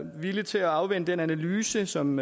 villige til at afvente den analyse som